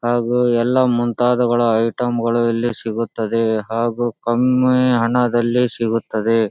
ಹಾಗೂ ಎಲ್ಲ ಮುಂತಾದವುಗಳ ಐಟಮ್ಗಳು ಇಲ್ಲಿ ಸಿಗುತ್ತದೆ ಹಾಗೂ ಕಮ್ಮಿ ಹಣದಲ್ಲಿ ಸಿಗುತ್ತದೆ.